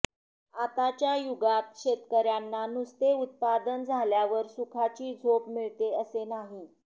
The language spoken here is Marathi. आताच्या युगात शेतकऱयांना नुसते उत्पादन झाल्यावर सुखाची झोप मिळते असे नाही